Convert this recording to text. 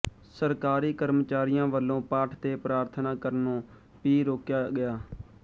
ਸਰਕਾਰੀ ਕਰਮਚਾਰੀਆਂ ਵੱਲੋਂ ਪਾਠ ਤੇ ਪ੍ਰਾਰਥਨਾ ਕਰਨੋਂ ਭੀ ਰੋਕਿਆ ਗਿਆ